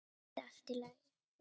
Skyldi allt í lagi?